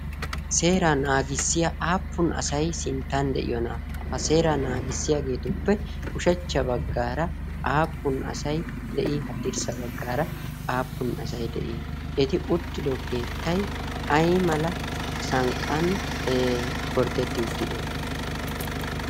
Seeraa naagissiyaa appun asay sinttan de"iyoonaa? Ha seeraa naagissiyaageetuppe ushachcha baggaara aappun asay de'ii? Haddirssa baggaara aappun asay de"I? Eti uttido keettay ayimala sanqqan gorddetti uttidee?